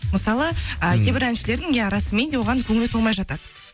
мысалы ы кейбір әншілердің иә расыменде оған көңілі толмай жатады